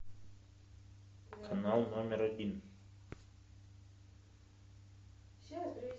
канал номер один